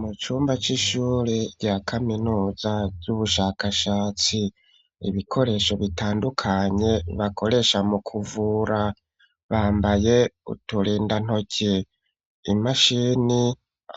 Mu cumba c'ishure rya kaminuza ry'ubushakashatsi, ibikoresho bitandukanye bakoresha mu kuvura, bambaye uturindantoki, imashini